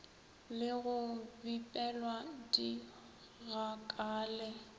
le go bipelwa di gakale